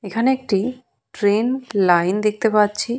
এখানে একটি train line দেখতে পাচ্ছি।